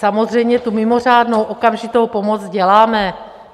Samozřejmě tu mimořádnou okamžitou pomoc děláme.